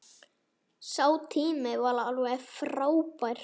Sá tími var alveg frábær.